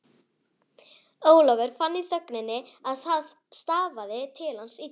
Ólafur fann í þögninni að það stafaði til hans illu.